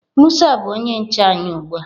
musa bu onye nche anyi ugbua.